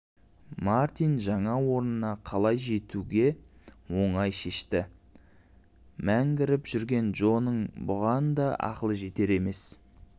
мартин жаңа орнына қалай жетуді оңай шешті мәңгіріп жүрген джоның бұған да ақылы жетер емес